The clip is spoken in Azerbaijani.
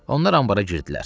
Onlar anbarda girdilər.